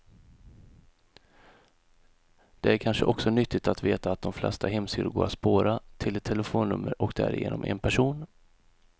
Det är kanske också nyttigt att veta att de flesta hemsidor går att spåra, till ett telefonnummer och därigenom en person.